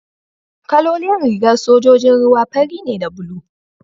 kalolin rigar sojojin ruwa fari ne da bulu